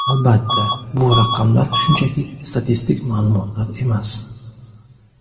Albatta, bu raqamlar shunchaki statistik ma’lumotlar emas.